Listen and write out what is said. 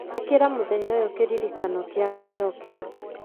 ĩkĩra mũthenya ũyũ kĩririkano kĩa gwĩcokera